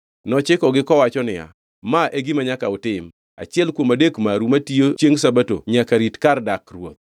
Nochikogi kowacho niya, “Ma e gima nyaka utim: Achiel kuom adek maru matiyo chiengʼ Sabato nyaka rit kar dak ruoth.